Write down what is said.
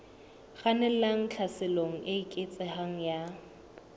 kgannelang tlhaselong e eketsehang ya